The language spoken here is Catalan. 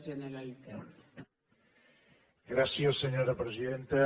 gràcies senyora presidenta